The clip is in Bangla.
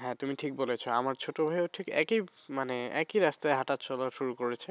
হ্যাঁ, তুমি ঠিক বলেছ আমার ছোট ভাই ও ঠিক একই মানে একই রাস্তায় হাঁটাচলা শুরু করেছে